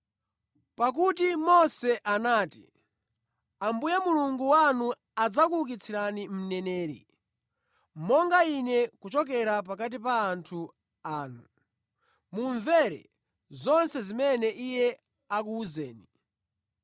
Pakuti Mose anati, ‘Ambuye Mulungu wanu adzakuukitsirani mneneri monga ine kuchokera pakati pa anthu anu; mumvere zonse zimene iye akuwuzeni.